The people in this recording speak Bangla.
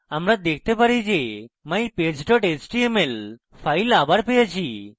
আমরা দেখতে পারি যে mypage html file আবার পেয়েছি